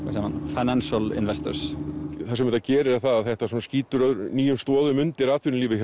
Financial investors það sem þetta gerir er að þetta skýtur nýjum stoðum undir atvinnulífið